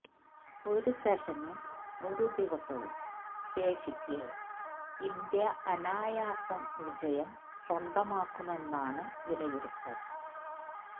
ഒരു സെഷനും ഒരു ദിവസവും ശേഷിക്കെ ഇന്ത്യ അനായാസം വിജയം സ്വന്തമാക്കുമെന്നാണ് വിലയിരുത്തല്